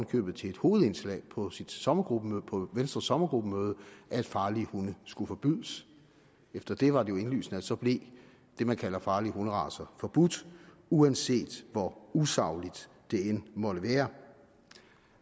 købet til et hovedindslag på sit sommergruppemøde på venstres sommergruppemøde at farlige hunde skulle forbydes efter det var det jo indlysende at så blev det man kalder farlige hunderacer forbudt uanset hvor usagligt det end måtte være